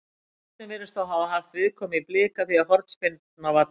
Boltinn virðist þó hafa haft viðkomu í Blika því hornspyrna var dæmd.